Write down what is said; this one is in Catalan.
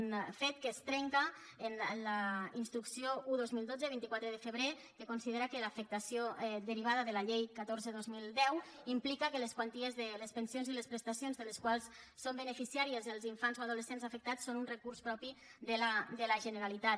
un fet que es trenca amb la instrucció un dos mil dotze de vint quatre de febrer que considera que l’afectació derivada de la llei catorze dos mil deu implica que les quanties de les pensions i les prestacions de les quals són beneficiaris els infants o adolescents afectats són un recurs propi de la generalitat